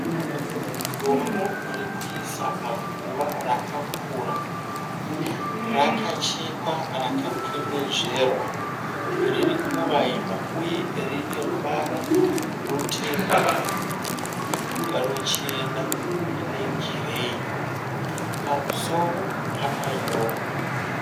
Dombo rokuisa paguva rakakura. Rakachekwa rakakwenezverwa riri kuvaima uye rine ruvara rutema, ruchena negireyi. Pamusoro pakanyorwa.